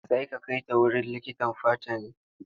Zai ka kai ta wurin likitan fata ne?